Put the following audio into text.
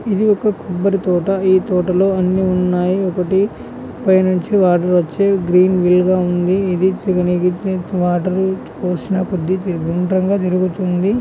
ఇది ఒక కొబ్బరి తోట ఈ తోట లో అని ఉన్నాయి. ఒకటి పైనుంచి వాటర్ వచ్చి గ్రీన్ వీల్ గా ఉంది .ఇది తిరిగితే వాటర్ పోసిన కొద్దీ గుండ్రం గా తిరుగుతుంది